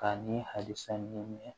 K'a ni halisa ɲɛ